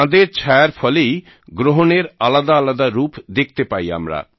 চাঁদের ছায়ার ফলেই গ্রহণের আলাদাআলাদা রূপ দেখতে পাই আমরা